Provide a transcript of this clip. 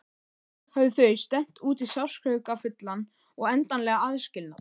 Þannig höfðu þau stefnt út í sársaukafullan og endanlegan aðskilnað.